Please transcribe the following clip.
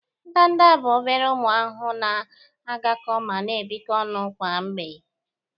Ndanda bụ ọbere ụmụ ahụhụ na-agakọ ma na-ebikọ onụ kwa mgbe.